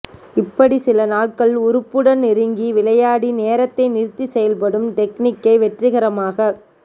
இப்படி சில நாள்கள் உறுப்புடன் நெருங்கி விளையாடி நேரத்தை நிறுத்திச் செயல்படும் டெக்னிக்கை வெற்றிகரமாகக்